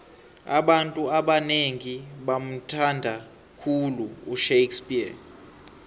abantu abanengi bamuthnada khulu ushakespears